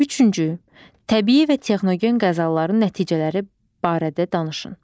Üçüncü, təbii və texnogen qəzaların nəticələri barədə danışın.